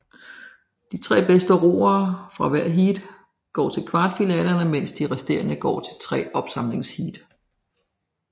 De tre bedste roere fra hvert heat går til kvartfinalerne mens de resterende går til tre opsamlingsheat